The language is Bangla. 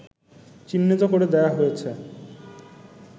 চিহ্নিত করে দেওয়া হয়েছে